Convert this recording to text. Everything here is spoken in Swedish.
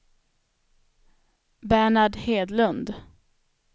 Bernhard Hedlund